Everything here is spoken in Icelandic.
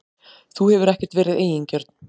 Þú hefur ekkert verið eigingjörn.